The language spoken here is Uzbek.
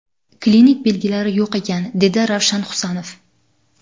Klinik belgilari yo‘q ekan”, dedi Ravshan Husanov.